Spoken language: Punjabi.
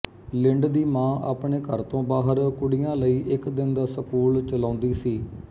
ਲਿੰਡ ਦੀ ਮਾਂ ਆਪਣੇ ਘਰ ਤੋਂ ਬਾਹਰ ਕੁੜੀਆਂ ਲਈ ਇੱਕ ਦਿਨ ਦਾ ਸਕੂਲ ਚਲਾਉਂਦੀ ਸੀ